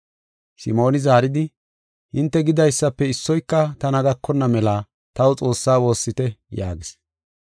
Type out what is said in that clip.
Simooni zaaridi, “Hinte gidaysafe issoyka tana gakonna mela taw Xoossaa woossite” yaagis.